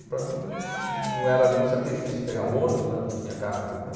E para mim não era nenhum sacrifício pegar o ônibus, né, não tinha carro naquele tempo.